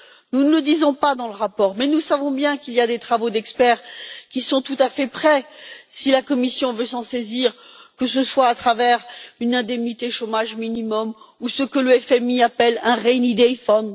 Nous ne le disons pas dans le rapport mais nous savons bien qu'il y a des travaux d'experts qui sont tout à fait prêts si la Commission veut s'en saisir, que ce soit à travers une indemnité chômage minimum ou ce que le FMI appelle un rainy day fund